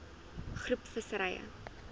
groep visserye